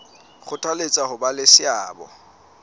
kgothaletsa ho ba le seabo